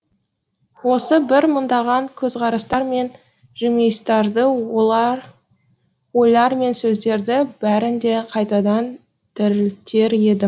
осы бір мыңдаған көзқарастар мен жымиыстарды ойлар мен сөздерді бәрін де қайтадан тірілтер едім